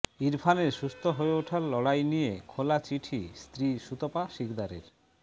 ইরফানের সুস্থ হয়ে ওঠার লড়াই নিয়ে খোলা চিঠি স্ত্রী সুতপা শিকদারের